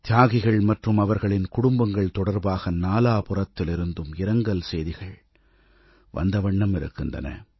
தியாகிகள் மற்றும் அவர்களின் குடும்பங்கள் தொடர்பாக நாலாபுறத்திலிருந்தும் இரங்கல் செய்திகள் வந்த வண்ணம் இருக்கின்றன